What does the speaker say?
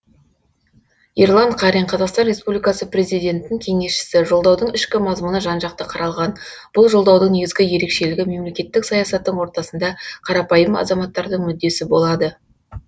ерлан қарин қазақстан республикасының президентінің кеңесшісі жолдаудың ішкі мазмұны жан жақты қаралған бұл жолдаудың негізгі ерекшелігі мемлекеттік саясаттың ортасында қарапайым азаматтардың мүддесі болады